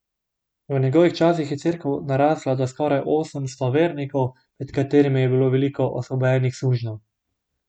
V njegovih časih je cerkev narasla do skoraj osemsto vernikov, med katerimi je bilo veliko osvobojenih sužnjev.